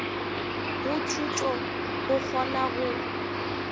go thuto go kgona go